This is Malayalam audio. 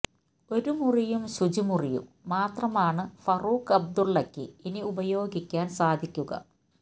ഒരു മുറിയും ശുചിമുറിയും മാത്രമാണ് ഫറൂഖ് അബ്ദുള്ളക്ക് ഇനി ഉപയോഗിക്കാന് സാധിക്കുക